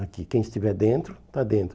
Aqui, quem estiver dentro, está dentro.